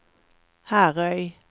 Herøy